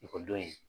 Ekɔlidenw ye